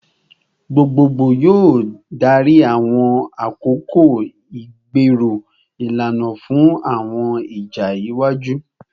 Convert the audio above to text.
Gbogbogbo yoo darí awọn akoko igbero ilana fun awọn ija iwaju